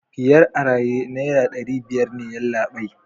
biyar a raye naira dari biyar yallabai